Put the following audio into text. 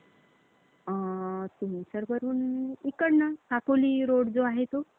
इतका छान मौसमातला जो आपला अं वर्ष प्रारंभी म्हणतो, तस ते हा आपला सण आहे. उत्सव जोरदार सुरु होतो यांच्यामध्ये तर. आणि या मौसमात तर,